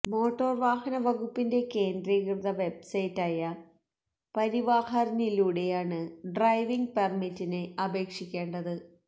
motor വാഹന വകുപ്പിന്റെ കേന്ദ്രീകൃത വെബ്സൈറ്റായ പരിവാഹനിലൂടെയാണ് ഡ്രൈവിങ്ങ് പെര്മിറ്റിന് അപേക്ഷിക്കേണ്ടത്